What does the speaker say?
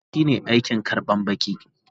Baƙi shine aikin karban baƙi.